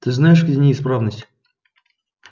ты знаешь где неисправность